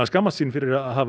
skammast sín fyrir að hafa